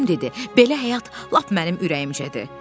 Tom dedi: "Belə həyat lap mənim ürəyimcədir.